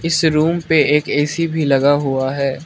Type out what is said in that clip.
इस रूम पे एक ए_सी भी लगा हुआ है।